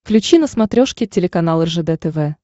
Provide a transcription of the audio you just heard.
включи на смотрешке телеканал ржд тв